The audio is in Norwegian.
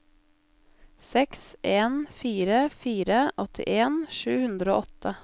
seks en fire fire åttien sju hundre og åtte